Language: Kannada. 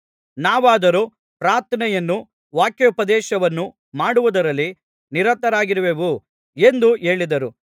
ನಾವಾದರೋ ಪ್ರಾರ್ಥನೆಯನ್ನೂ ವಾಕ್ಯೋಪದೇಶವನ್ನೂ ಮಾಡುವುದರಲ್ಲಿ ನಿರತರಾಗಿರುವೆವು ಎಂದು ಹೇಳಿದರು